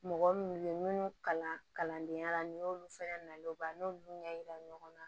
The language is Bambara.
Mɔgɔ minnu ye minnu kalan kalandenya la n'i y'olu fɛnɛ nalen o ban n'olu ɲɛ yira ɲɔgɔn na